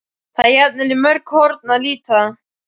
Það er jafnan í mörg horn að líta.